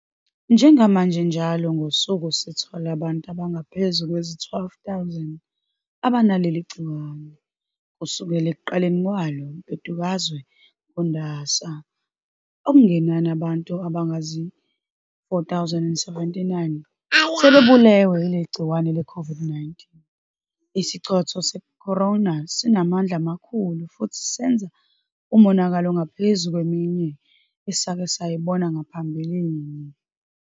Njengamanje njalo ngosuku sithola abantu abangaphezu kwezi-12,000 abanaleli gciwane. Kusukela ekuqaleni kwalo mbhedukazwe ngoNdasa, okungenani abantu abayizi-4,079 sebebulewe yigciwane leCOVID-19. Isichotho se-corona sinamandla amakhulu futhi senza umonakalo ongaphezu kweminye esake sayibona ngaphambilini.